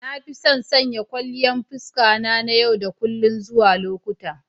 Na fi son sanya kwalliyan fuska na yau da kullun zuwa lokuta.